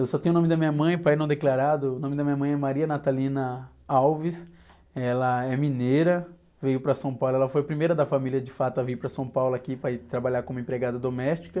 Eu só tenho o nome da minha mãe, pai não declarado. O nome da minha mãe é, ela é mineira, veio para São Paulo, ela foi a primeira da família de fato a vir para São Paulo aqui para ir trabalhar como empregada doméstica.